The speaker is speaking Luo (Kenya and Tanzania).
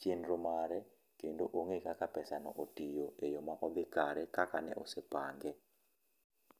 chenro mare kendo ong'eyo kaka pesa no otiyo e yo ma odhi kare kaka ne osepange.